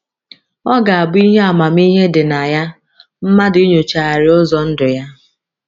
Ọ ga - abụ ihe amamihe dị na ya mmadụ inyochagharị ụzọ ndụ ya.